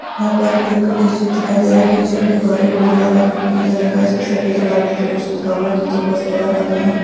यहां पर एक टिन शेड दिखाई दे रहा है| टिन शेड के बाहर एक बोर्ड लगा है जो की नीले रंग का है| इसपे सफेद और लाल रंग से कुछ लिखा हुआ है| नीचे बहुत ज्यादा मात्रा में --